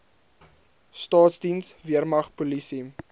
staatsdiens weermag polisie